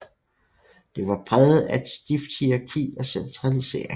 Det var præget af et stift hierarki og centralisering